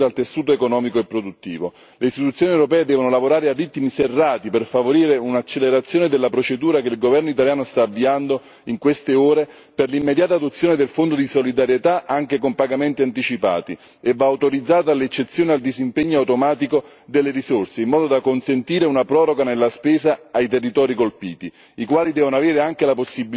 Le istituzioni europee devono lavorare a ritmi serrati per favorire un'accelerazione della procedura, che il governo italiano sta avviando in queste ore, per l'immediata adozione del Fondo di solidarietà, anche con pagamenti anticipati. E va autorizzata l'eccezione al disimpegno automatico delle risorse, in modo da consentire una proroga nella spesa ai territori colpiti, i quali devono avere anche la possibilità di uscire dal Patto di stabilità.